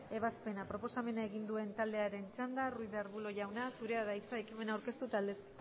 ebazpena proposamena egin duen taldearen txanda ruiz de arbulo jauna zurea da hitza ekimena aurkeztu eta aldezteko